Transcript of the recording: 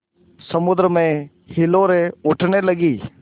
समुद्र में हिलोरें उठने लगीं